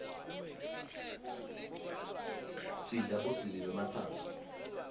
sidla budzibi bematsanga